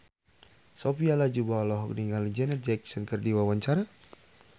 Sophia Latjuba olohok ningali Janet Jackson keur diwawancara